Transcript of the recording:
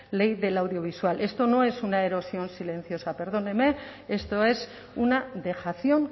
ley audiovisual esto no es una erosión silenciosa perdóneme esto es una dejación